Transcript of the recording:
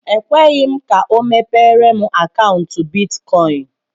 E kweghi m ka ọ mepere m akaụntu bịtkọin